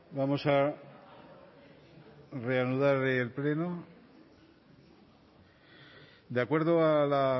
vamos a reanudar el pleno de acuerdo a la